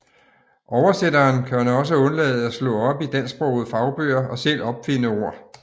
Oversætteren kan også undlade at slå op i dansksprogede fagbøger og selv opfinde ord